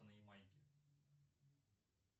на ямайке